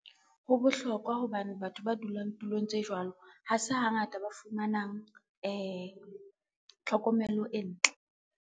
Ho bohlokwa hobane batho ba dulang tulong tse jwalo, ha se hangata ba fumanang tlhokomelo e ntle.